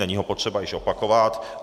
Není ho potřeba již opakovat.